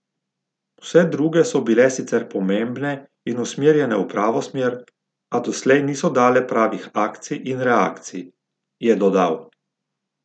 Vse druge so bile sicer pomembne in usmerjene v pravo smer, a doslej niso dale pravih akcij in reakcij, je dodal.